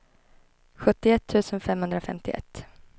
sjuttioett tusen femhundrafemtioett